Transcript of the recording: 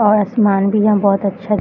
और आसमान भी यहाँ बहोत अच्छा --